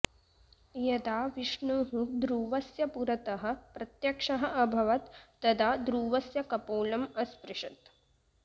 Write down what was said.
यदा विष्णुः ध्रुवस्य पुरतः प्रत्यक्षः अभवत् तदा ध्रुवस्य कपोलम् अस्पृशत्